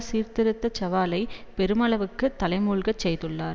சீர்திருத்த சவாலை பெருமளவுக்கு தலைமூழ்கச் செய்துள்ளார்